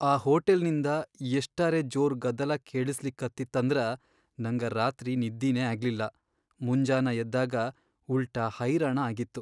ಆ ಹೋಟೆಲ್ನಿಂದ ಎಷ್ಟರೇ ಜೋರ್ ಗದ್ದಲಾ ಕೇಳಸ್ಲಿಕತ್ತಿತ್ತಂದ್ರ ನಂಗ ರಾತ್ರಿ ನಿದ್ದಿನೇ ಆಗ್ಲಿಲ್ಲ, ಮುಂಜಾನ ಎದ್ದಾಗ ಉಲ್ಟಾ ಹೈರಾಣ ಆಗಿತ್ತು.